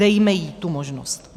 Dejme jí tu možnost.